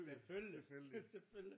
Selvfølgelig selvfølgelig